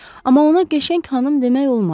Amma ona qəşəng xanım demək olmaz.